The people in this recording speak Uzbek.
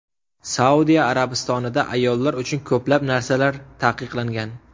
Saudiya Arabistonida ayollar uchun ko‘plab narsalar taqiqlangan.